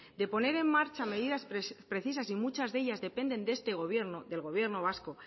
de poner en marcha medidas precisas y muchas de ellas dependen de este gobierno del gobierno vasco